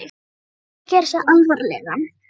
Hann reyndi að gera sig alvarlegan.